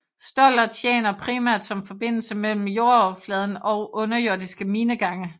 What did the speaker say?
Stoller tjener primært som forbindelse mellem jordoverfladen og underjordiske minegange